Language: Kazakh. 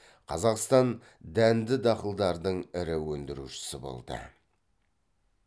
қазақстан дәнді дақылдардың ірі өндірушісі болды